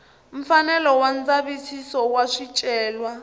mfanelo wa ndzavisiso wa swicelwa